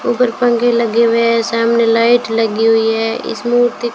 ऊपर पंख लगे हुए है सामने लाइट लगी हुई है इस मूर्ति--